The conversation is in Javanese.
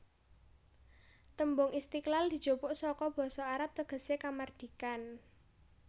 Tembung Istiqlal dijupuk saka basa Arab tegesé Kamardikan